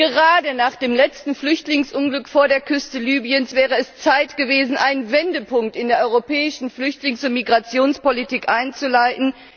Gerade nach dem letzten Flüchtlingsunglück vor der Küste Libyens wäre es Zeit gewesen, einen Wendepunkt in der europäischen Flüchtlings und Migrationspolitik einzuleiten.